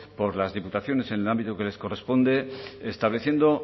por las diputaciones en el ámbito que les corresponde estableciendo